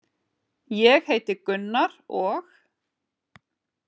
Ég heiti Gunnar og.